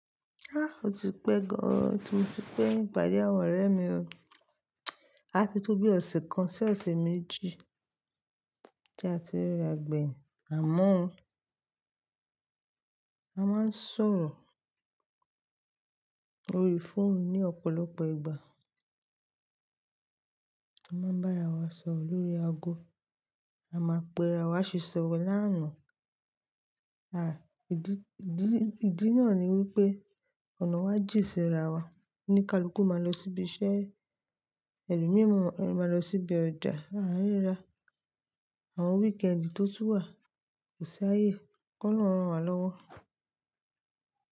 Ah! O ti pẹ́ gan, ti moti kẹ́yìn pàdé àwọn ọ̀rẹ́ mi o. A ti tó bí ọ̀sẹ̀ kan sí ọ̀sẹ̀ méjì tí a ti riragbẹ̀yìn, àmọ́ a máa ń sọ̀rọ̀ orí fóònù ní ọ̀pọ̀lọpọ̀ ìgbà. A máa ń bá ara wa sọ̀rọ̀ lórí ago, a máa pè ara wa asi sọ̀rọ̀ lánàá. Ah, ìdí, ìdí ìdí náà ni wípé ọ̀nà wa jìnn sí raa wa. O ní kaluku ma loo sí ibi iṣẹ́. Ẹlòmíràn máa ń lọ sí ọjà arira àwọn weekend tó tún wà kò saye. Kí ọlọ́run ràn wa lọ́wọ́.